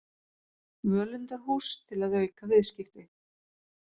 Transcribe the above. Völundarhús til að auka viðskipti